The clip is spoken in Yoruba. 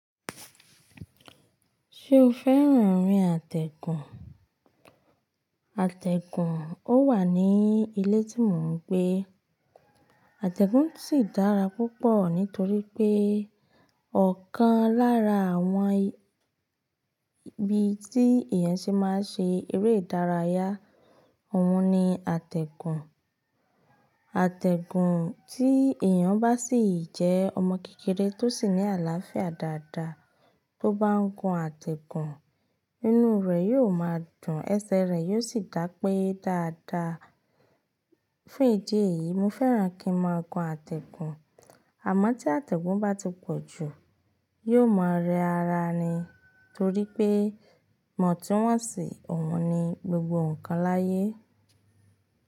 Ṣé o fẹ́ràn orin àtẹ̀gùn? Àtẹ̀gùn ó wà ní ilé tí mò ń gbé. Àtẹ̀gùn sì dára púpọ̀ nítorí pé ọ̀kan lára àwọn ibi tí èèyàn ṣe máa ṣe eré ìdárayá, òun ni àtẹ̀gùn. Àtẹ̀gùn tí èèyàn bá sì jẹ́ ọmọ kékeré tó sì ní àlàáfíà dáadaa tó bá ń gun àtẹ̀gùn, inú rẹ̀ yóò máa dùn, ẹsẹ̀ rẹ̀ yóò sì dá pé dáadaa. Fún ìdí èyí, mo fẹ́ràn kí n máa gun àtẹ̀gùn. Àmọ́ tí àtẹ̀gùn bá ti pọ̀ jù, yóò máa rẹ ara ni. Torí pé, ìwòntúnwòsì sì, òun ni gbogbo nǹkan láyé.